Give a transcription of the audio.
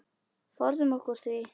Forðum okkur því.